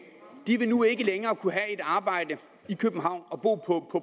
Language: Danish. de vil nu ikke længere kunne have et arbejde i københavn og bo på